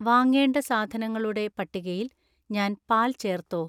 വാങ്ങേണ്ട സാധനങ്ങളുടെ പട്ടികയിൽ ഞാൻ പാൽ ചേർത്തോ